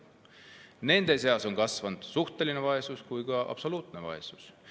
Nende seas on kasvanud suhteline vaesus ja ka absoluutne vaesus.